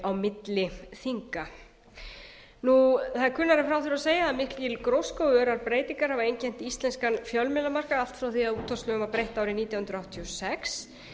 milli þinga það er kunnara en frá þurfi að segja að mikil gróska og örar breytingar hafa einkennt íslenskan fjölmiðlamarkað allt frá því að útvarpslögum var breytt árið nítján hundruð áttatíu og sex